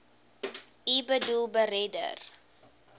u boedel beredder